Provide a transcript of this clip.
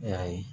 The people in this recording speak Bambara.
E y'a ye